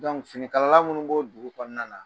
finikala minnu b'o dugu kɔnɔna na,